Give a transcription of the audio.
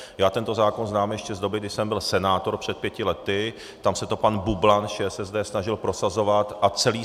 Já tento zákon znám ještě z doby, kdy jsem byl senátor před pěti lety, tam se to pan Bublan z ČSSD snažil prosazovat a celý